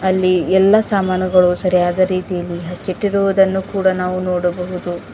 ಅಲ್ಲಿ ಎಲ್ಲ ಸಾಮಾನುಗಳು ಸರಿಯಾದ ರೀತಿಯಲ್ಲಿ ಹಚ್ಚಿಟ್ಟಿರುವುದನ್ನು ನಾವು ನೋಡಬಹುದು.